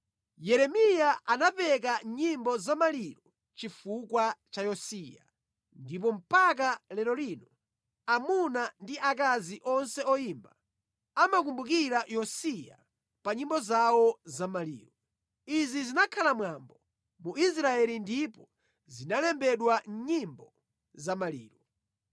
Yeremiya anapeka nyimbo za maliro chifukwa cha Yosiya, ndipo mpaka lero lino amuna ndi akazi onse oyimba amakumbukira Yosiya pa nyimbo zawo za maliro. Izi zinakhala mwambo mu Israeli ndipo zinalembedwa mʼNyimbo za Maliro.